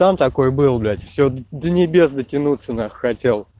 сам такой был блять все до небес дотянуться нахуй хотел